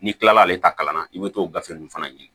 N'i kilala ale ta kalan na i bɛ t'o gafe ninnu fana ɲini